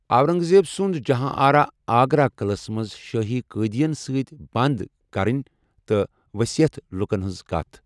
اورنٛگ زیب سُنٛد جہان آرا آگرا قِلعس منٛز شٲہی قٲدٮ۪ن سۭتۍ بنٛد کَرٕنۍ تہٕ ؤسِیتھ لُکن ہٕنٛزٕ كتھ ۔